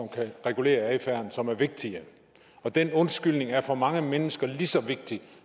kan regulere adfærden som er vigtige den undskyldning er for mange mennesker lige så vigtig